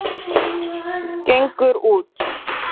Gengur út.